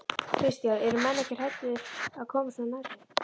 Kristján: Eru menn ekki hræddir að koma svona nærri?